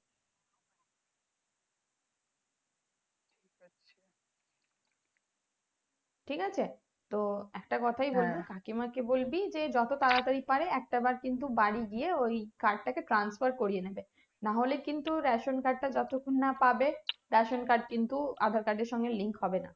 ঠিক আছে তো একটা কোথায় বলবো কাকিমা কে বলবি যে যত তাড়াতাড়ি পারে একটা বার কিন্তু বাড়ি গিয়ে ওই card টাকে transfer করিয়ে নেবে নাহলে কিন্তু ration card টা যতক্ষণ না পাবে ration card কিন্তু aadhaar card এর সাথে link হবেনা